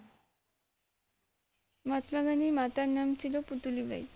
মহাত্মা গান্ধীর মাতার নাম ছিল পুতলি বাই